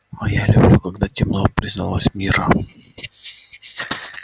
а я люблю когда темно призналась мирра